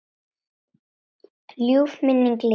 Ljúf minning lifir.